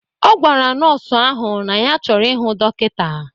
Ọ gwara nọọsụ ahụ na ya chọrọ ịhụ dọkịta.